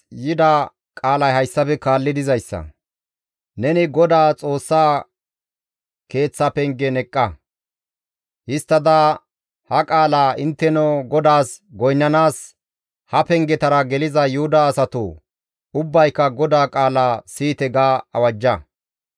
«Neni GODAA Xoossa Keeththa pengen eqqa; histtada ha qaala, ‹Intteno GODAAS goynnanaas ha pengetara geliza Yuhuda asatoo, ubbayka GODAA qaala siyite!› ga awajja.